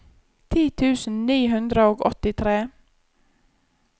ti tusen ni hundre og åttitre